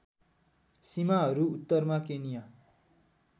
सीमाहरू उत्तरमा केनिया